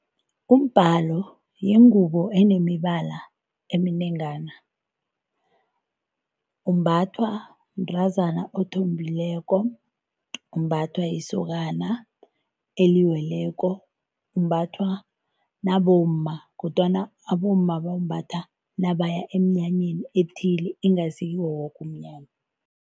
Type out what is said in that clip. Umbhalo yingubo enemibala eminengana umbathwa mntazana othombileko. Umbathwa yisokokana eliweleko, umbathwa nabomma kodwana abomma bawumbatha nabaya emnyanyeni ethileko ingasi kiwo woke umnyanya.